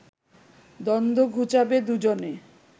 দ্বন্দ্ব ঘুচাবে দুজনে